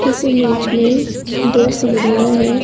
इस इमेज में दो सीढ़ियां है।